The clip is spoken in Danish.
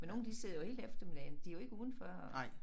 Men nogle de sidder jo hele eftermiddagen de jo ikke udenfor og